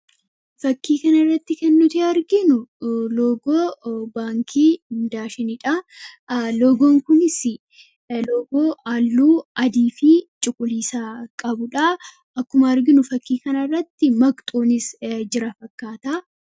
Fakkii kana irratti ken nuti arginu loogoo baankii daashinidha. loogoon kunis loogoo halluu adii fi cuquliisaa qabuudha. Akkuma arginu fakkii kana irratti maqasiin jira fakkaata.